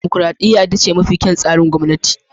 Dimokuradiyya ita ce mafi kyawun tsarin gwamnati.